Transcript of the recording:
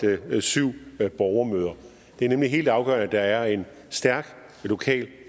syv borgermøder det er nemlig helt afgørende at der er en stærk lokal